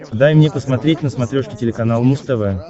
дай мне посмотреть на смотрешке телеканал муз тв